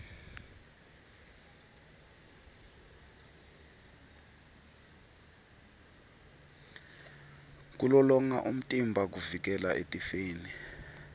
kulolonga umtimba kuvikela etifeni